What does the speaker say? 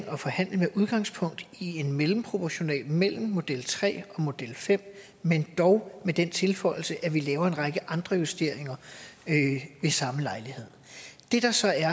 og forhandle med udgangspunkt i en mellemproportional mellem model tre og model fem men dog med den tilføjelse at vi laver en række andre justeringer ved samme lejlighed det der så er er